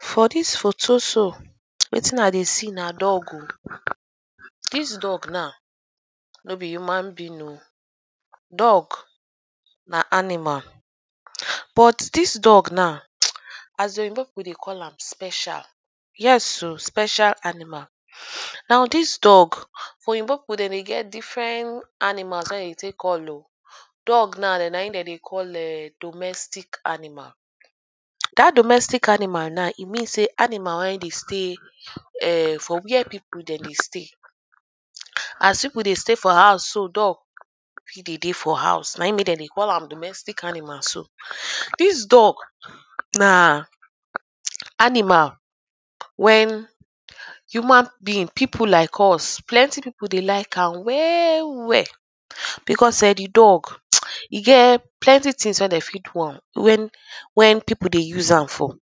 For dis photo so, wetin i dey see na dog oh. Dis dog now no be human being oh. Dog na animal but dis dog now as the Oyinbo people dey call am special yes oh, special aninmal. Now dis dog Oyinbo people dem dey get different animal wey dem dey take call oh. Dog now na im dem dey call domestic animal. Dat domestic animal now e mean sey animal wey dey stay ern for where people dem dey stay. As people dey stay for house so, dog e dey dey for house. Na im make am dey call am domestic animal so. Dis dog na animal when human being, people like us. Plenty people dey like am well well because erm the dog, e get plenty things wey dem fit dom am. When when people dey use am for erm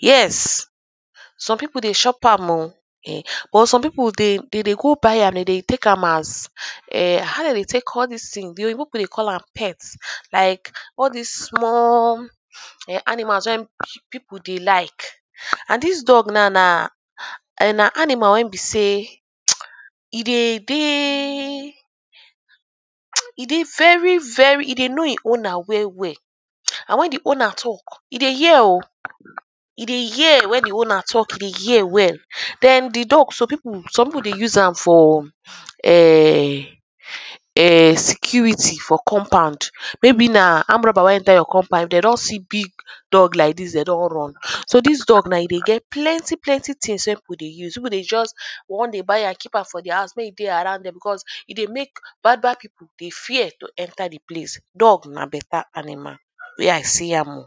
yes. Some people dey chop am oh ern but some people de de dey go buy am. Dem dey take am as erm how dem take dey call dis thing, the Oyinbo people dey call am pet. Like all dis small ern animals when people dey like. And dis dog now na ern na animal wey be sey e dey dey e dey very very, e dey know the owner well well and when the owner talk e dey hear oh. E dey hear when the owner talk. E dey hear well. Den the dog some people, some people dey use am for ern ern security for compound. Maybe na armed robber wan enter your compound, if de don see big dog like dis, de don run. So dis dog now e dey get plenty plenty things wey people dey use. People dey just wan dey buy am, keep am for their house make e dey around dem because e dey make bad bad people dey fear to enter place. Dog na better animal wey i see am oh.